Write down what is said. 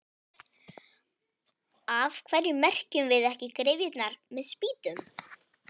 Af hverju merkjum við ekki gryfjurnar með spýtum?